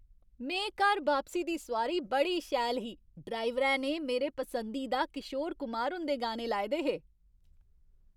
में घर बापसी दी सोआरी बड़ी शैल ही। ड्राइवरै ने मेरे पसंदीदा किशोर कुमार हुंदे गाने लाए दे हे।